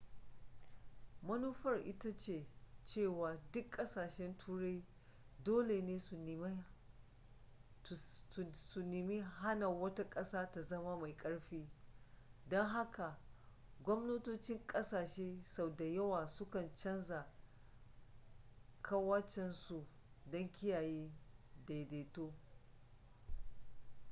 manufar ita ce cewa duk ƙasashen turai dole ne su nemi hana wata ƙasa ta zama mai ƙarfi don haka gwamnatocin ƙasashe sau da yawa sukan canza ƙawancensu don kiyaye daidaito